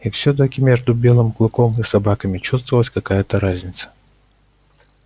и все таки между белым клыком и собаками чувствовалась какая то разница